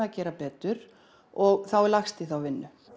að gera betur og þá er lagst í þá vinnu